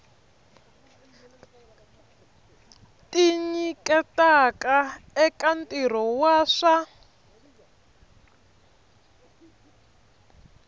tinyiketaka eka ntirho wa swa